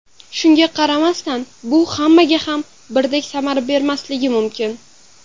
Shunga qaramasdan, bu hammaga ham birdek samara bermasligi mumkin.